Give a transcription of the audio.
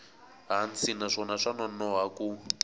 hansi naswona swa nonoha ku